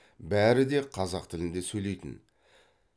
бәрі де қазақ тілінде сөйлейтін